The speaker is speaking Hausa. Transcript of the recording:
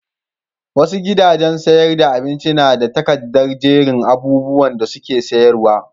Wasu gidajen sayar da abincin na da takardar jerin abubuwan da suke sayarwa.